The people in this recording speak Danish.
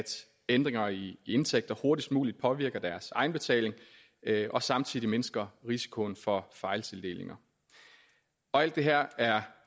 ændringer i indtægter hurtigst muligt påvirker deres egenbetaling og samtidig mindsker risikoen for fejltildelinger og alt det her er